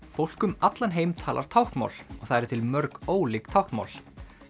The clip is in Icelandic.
fólk um allan heim talar táknmál og það eru til mörg ólík táknmál